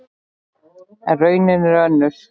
En raunin er önnur.